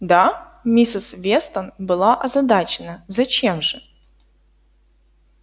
да миссис вестон была озадачена зачем же